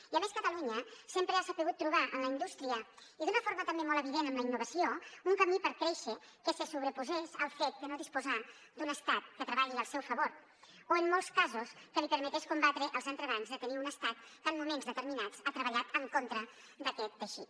i a més catalunya sempre ha sabut trobar en la indústria i d’una forma també molt evident en la innovació un camí per créixer que se sobreposés al fet de no disposar d’un estat que treballi al seu favor o en molts casos que li permetés combatre els entrebancs de tenir un estat que en moments determinats ha treballat en contra d’aquest teixit